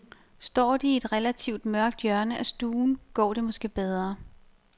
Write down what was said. Står de i et relativt mørkt hjørne af stuen, går det måske bedre.